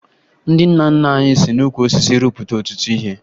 Ndị nna nna anyị si n'ukwu osisi rụpụta ọtụtụ ihe